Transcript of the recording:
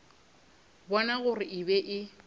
bona gore e be e